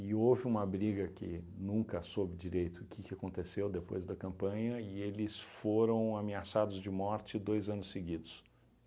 e houve uma briga que nunca soube direito o que que aconteceu depois da campanha e eles foram ameaçados de morte dois anos seguidos.